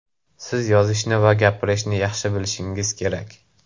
Siz yozishni va gapirishni yaxshi bilishingiz kerak.